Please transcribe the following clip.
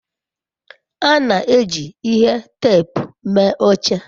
a na-eji ihe teepu mee oche